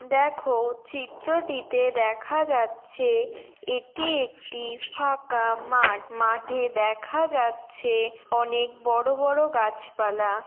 দেখো চিত্রটিতে দেখা যাচ্ছে এটি একটি ফাঁকা মাঠ। মাঠে দেখা যাচ্ছে অনেক বড়ো বড়ো গাছপালা।